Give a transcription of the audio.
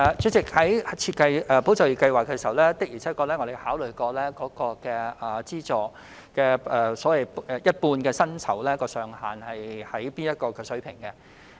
主席，在設計"保就業"計劃時，我們的確曾考慮資助一半薪酬的上限應設在甚麼水平。